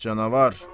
Ax canavar!